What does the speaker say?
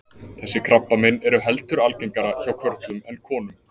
Þessi krabbamein eru heldur algengara hjá körlum en konum.